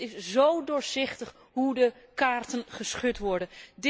Het is zó doorzichtig hoe de kaarten geschud worden.